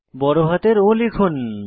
বড়হাতের O টিপুন